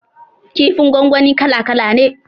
Kifin gwangwani kala kala ne